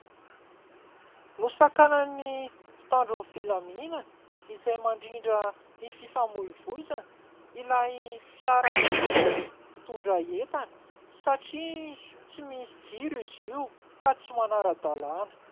Nosakanan'ny mpitandro ny filaminana izay mandrindra ny fifamoivoizana ilay fiara lehibe mpitondra entana satria tsy misy jiro izy io ka tsy manara-dalàna.